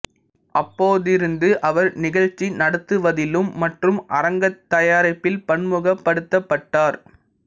அப்போதிருந்து அவர் நிகழ்ச்சி நடத்துவதிலும் மற்றும் அரங்கத் தயாரிப்பில் பன்முகப்படுத்தப்பட்டார்